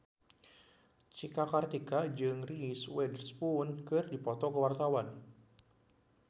Cika Kartika jeung Reese Witherspoon keur dipoto ku wartawan